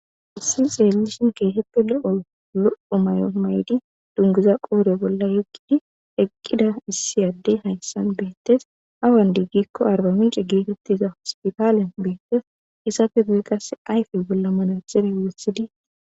Hayssi xeellishin keehippe lo'o lo'o mayo mayidi dunguza qoodhe bolla yeggidi eqqida issi addey hayssan bettees awan di giiko Arbamince hospitale bettees izappe guye qasse ayfe bolla manaxire woththidi